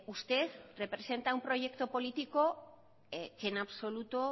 usted representa un proyecto político que en absoluto